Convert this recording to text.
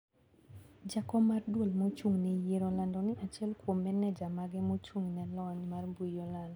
jakom mar duol mochung`ne yiero olando ni achiel kuom meneja mage mochung`ne lony mar mbui olal .